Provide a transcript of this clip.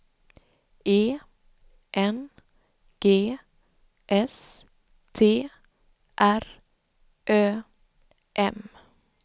E N G S T R Ö M